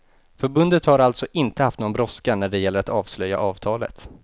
Förbundet har alltså inte haft någon brådska när det gäller att avslöja avtalet.